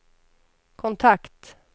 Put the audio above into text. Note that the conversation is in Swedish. kontakt